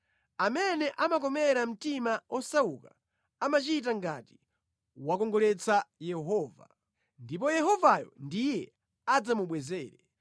Amene amakomera mtima osauka amachita ngati wakongoletsa Yehova, ndipo Yehovayo ndiye adzamubwezere.